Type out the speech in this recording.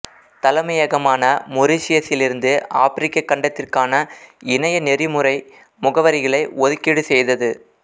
தலைமையகமான மொரிஷியஸிலிருந்து ஆப்பிரிக்க கண்டத்திற்கான இணையநெறிமுறை முகவரிகளை ஒதுக்கீடு செய்தது